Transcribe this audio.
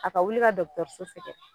A ka wuli ka sɛ sɛgɛrɛ.